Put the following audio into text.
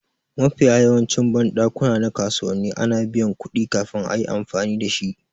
Mafiya yawancin banɗakuna na kasuwanni ana biyan kuɗi kafin a yi amfani dashi